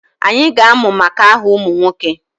Anyị ga-amụ maka aha ụmụ nwoke